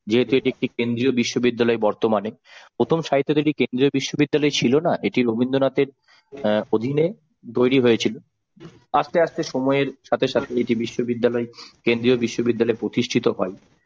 যেহেতু এটা একটি কেন্দ্রীয় বিশ্ববিদ্যালয় বর্তমানে প্রথমে তো এটা কেন্দ্রীয় বিশ্ববিদ্যালয় ছিল না এটি রবীন্দ্রনাথের অ্যাঁ অধীনে তৈরি হয়েছিল আস্তে আস্তে সময়ের সাথে সাথে এটি বিশ্ববিদ্যালয় কেন্দ্রীয় বিশ্ববিদ্যালয় প্রতিষ্ঠিত হয়।